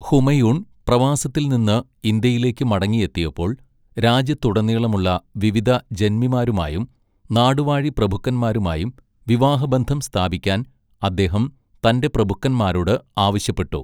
ഹുമയൂൺ പ്രവാസത്തിൽ നിന്ന് ഇന്ത്യയിലേക്ക് മടങ്ങിയെത്തിയപ്പോൾ, രാജ്യത്തുടനീളമുള്ള വിവിധ ജന്മിമാരുമായും നാടുവാഴി പ്രഭുക്കന്മാരുമായും വിവാഹബന്ധം സ്ഥാപിക്കാൻ അദ്ദേഹം തന്റെ പ്രഭുക്കന്മാരോട് ആവശ്യപ്പെട്ടു.